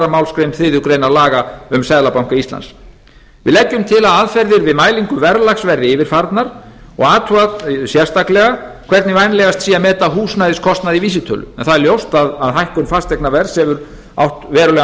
málsgrein þriðju grein laga um seðlabanka íslands við leggjum til að aðferðir við mælingu verðlags verði yfirfarnar og athugað sérstaklega hvernig vænlegast sé að meta húsnæðiskostnað í vísitölu en það er ljóst að hækkun fasteignaverðs hefur átt verulegan